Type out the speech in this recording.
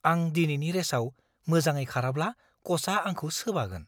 आं दिनैनि रेसाव मोजाङै खाराब्ला क'चआ आंखौ सोबागोन।